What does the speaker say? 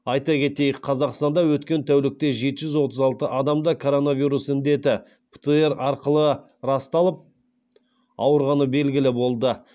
айта кетейік қазақстанда өткен тәулікте жеті жүз отыз алты адамда коронавирус індеті птр арқылы расталып ауырғаны белгілі болды